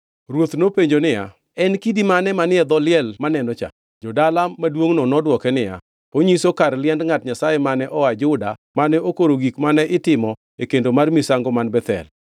Ruoth nopenjo niya, “En kidi mane manie dho liel maneno cha?” Jo-dala maduongʼno nodwoke niya, “Onyiso kar liend ngʼat Nyasaye mane oa Juda mane okoro gik mane itimo e kendo mar misango man Bethel.”